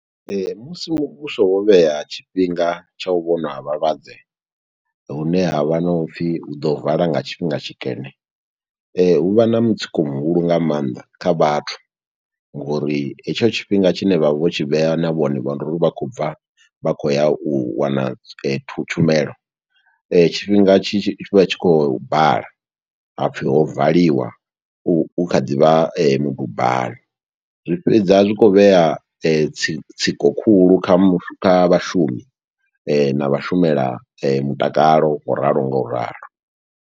Musi muvhuso wo vhea tshifhinga tsha u vhonwa ha vhalwadze, hune havha na u pfi hu ḓo vala nga tshifhinga tshikene. Hu vha na mutsiko muhulu nga maanḓa kha vhathu, ngo uri hetsho tshifhinga tshine vha vha vho tshi vhea, na vhone vha ndi uri vha khou bva vha khou ya u wana thu tshumelo. Tshifhinga tshi tshi vha tshi khou bala, ha pfi ho valiwa, hu kha ḓivha midubani. Zwi fhedza zwi khou vhea tsiko khulu kha kha vhashumi na vhashumela mutakalo, ngo ralo ngo ralo.